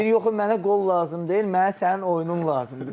Deyir yox, mənə qol lazım deyil, mənə sənin oyunun lazımdır.